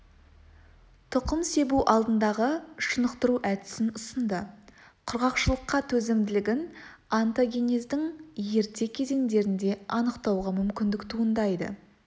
тұқым себу алдындағы шынықтыру әдісін ұсынды құрғақшылыққа төзімділігін онтогенездің ерте кезеңдерінде анықтауға мүмкіндік туындайды